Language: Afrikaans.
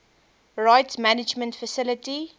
rights management facility